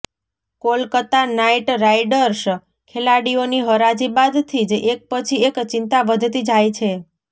Kolkata knight riders ખેલાડીઓની હરાજી બાદથી જ એક પછી એક ચીંતા વધતી જાય છે